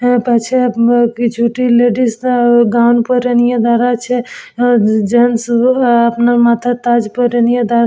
এর পাছে উম কিছুটি লেডিস রা গাউন পরে নিয়ে দাঁড়াছে জেন্টস অ আপনা মাথায় তাজ পরে নিয়ে দাঁড়া--